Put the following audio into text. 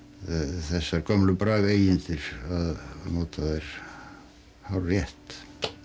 þessar gömlu brag eigindir að nota þær hárrétt